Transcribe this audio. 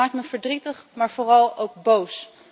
Dat maakt me verdrietig maar vooral ook boos.